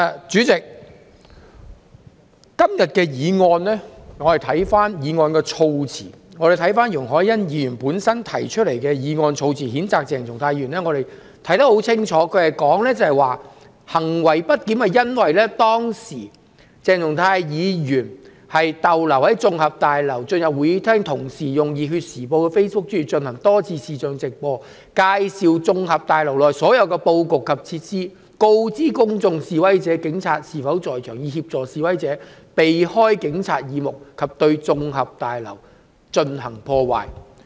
主席，我們看看今天容海恩議員提出譴責鄭松泰議員的議案，措辭當中清楚指出鄭松泰議員行為不檢是由於"鄭松泰議員逗留在綜合大樓及進入會議廳，並同時在《熱血時報》的面書專頁進行多次視像直播，介紹綜合大樓內部布局及設施，並告知公眾及示威者警察是否在場，以協助示威者避開警察耳目及對綜合大樓進行破壞。